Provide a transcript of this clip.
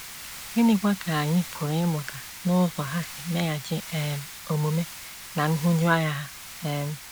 Gịnịkwa ka anyị pụrụ ịmụta n’ụzọ ha si meghachi um omume ná nhụjuanya ha? um